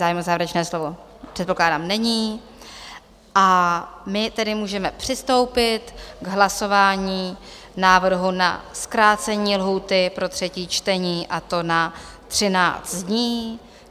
Zájem o závěrečné slovo, předpokládám, není, a my tedy můžeme přistoupit k hlasování návrhu na zkrácení lhůty pro třetí člení, a to na 13 dní.